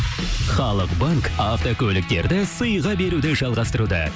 халықбанк автокөліктерді сыйға беруді жалғастыруда